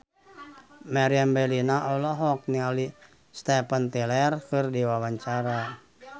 Meriam Bellina olohok ningali Steven Tyler keur diwawancara